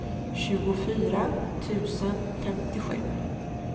tjugofyra tusen femtiosju